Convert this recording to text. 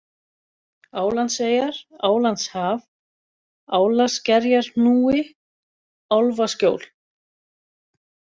Álandseyjar, Álandshaf, Álaskerjarhnúi, Álfaskjól